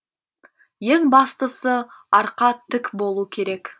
ең бастысы арқа тік болу керек